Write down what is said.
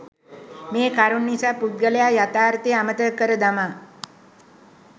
මේ කරුණු නිසා පුද්ගලයා යථාර්ථය අමතක කර දමා